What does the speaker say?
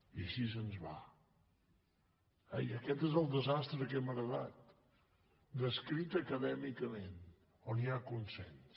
i així ens va i aquest és el desastre que hem heretat descrit acadèmicament on hi ha consens